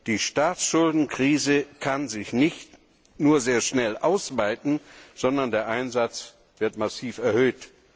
Die Staatsschuldenkrise kann sich nicht nur sehr schnell ausweiten, sondern der Einsatz wird massiv erhöht.